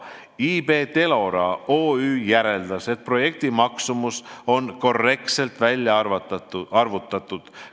IB Telora OÜ järeldas, et projekti maksumus on korrektselt välja arvutatud.